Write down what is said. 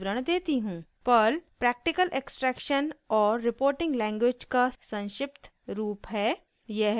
Perl practical extraction और reporting language का संक्षिप्त रूप है